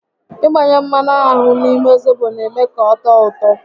Ị gbanye mmanụ aṅụ n'ime zobo n'eme ka ọ tọọ ụtọ